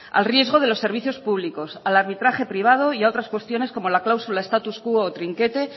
a riesgo de los servicios públicos al arbitraje privado y a otras cuestiones como la cláusula status quo o trinquete